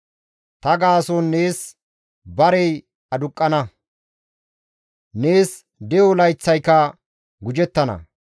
Ta gaason nees barey aduqqana; nees de7o layththayka gujettana.